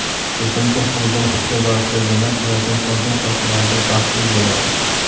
Ko‘pincha o‘zini ishga bag‘ishlaganlar hayotning qolgan sohalarida baxtsiz bo‘ladi.